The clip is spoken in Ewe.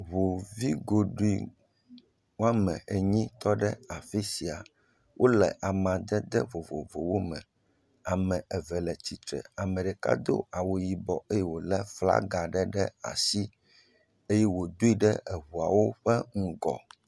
Ŋu vi goɖoe woame enyi tɔ ɖe afi sia. Wole amadede vovovowo me. Ame eve le tsitre, ame ɖeka do awu yibɔ eye wòlé flaga ɖe ɖe asi eye wòdoe ɖe eŋuawo ƒe ŋgɔ.